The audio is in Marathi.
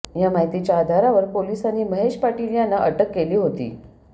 या माहितीच्या आधारावर पोलिसांनी महेश पाटील यांना अटक केली होती